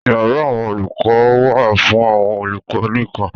Yàrá àwọn olùkọ wà fún àwọn olùkọ nìkan.